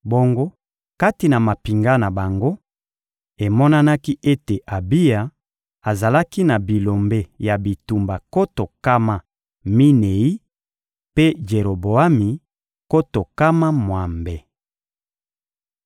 Bongo kati na mampinga na bango, emonanaki ete Abiya azalaki na bilombe ya bitumba nkoto nkama minei, mpe Jeroboami, nkoto nkama mwambe.